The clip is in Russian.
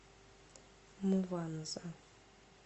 мванза